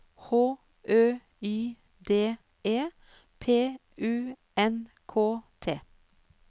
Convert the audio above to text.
H Ø Y D E P U N K T